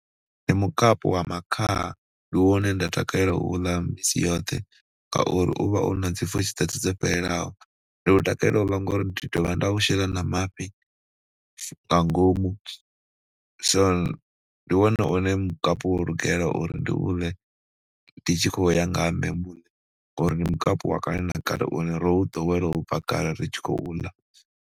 Ndi mukapu wa makhaha, ndi wone nda takalela u ḽa misi yoṱhe ngauri u vha u na dzi pfhushi dzoṱhe dzo fhelelaho, ndi u takalela u ḽa ngori ndi dovha nda u shela na mafhi nga ngomu, so ndi wone une mukapu wo lugela uri ndi u ḽe ndi tshi khou ya ngaha nṋe muṋe ngori ndi mukapu wa kale na kale une ro u ḓowela u bva kale ri tshi khou ḽa.